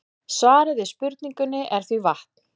Svarið við spurningunni er því vatn.